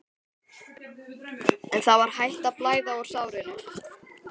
En það var hætt að blæða úr sárinu.